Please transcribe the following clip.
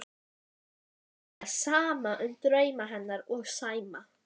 Lætur sér standa á sama um drauma hennar og Sæma.